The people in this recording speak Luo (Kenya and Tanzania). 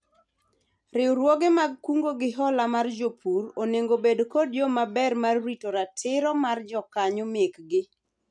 Riwruoge mag kungo gi hola mar jopur onego obed kod yoo maber mar rito ratiro mar jokanyo mekgi